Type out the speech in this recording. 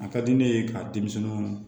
A ka di ne ye ka denmisɛnninw